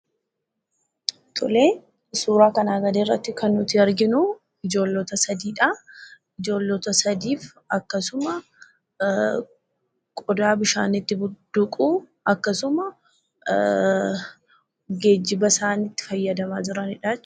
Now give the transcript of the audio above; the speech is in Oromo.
Suuraa kanaa gadiirratti kan arginu ijoollota sadiidha. Ijoollota sadii akkasuma qodaa bishaan itti budduuqu, akkasuma geejjiba isaan itti fayyadamaa jiranidha.